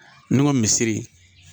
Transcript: Ne ko misiri